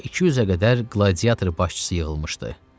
Bura 200-ə qədər qladiator başçısı yığılmışdı.